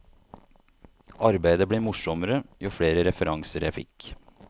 Arbeidet ble morsommere jo flere referanser jeg fikk.